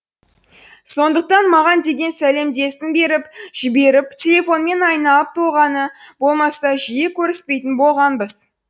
сондықтан маған деген беріп жіберіп телефонмен айналып толғанғаны болмаса жиі көріспейтін болғанбыз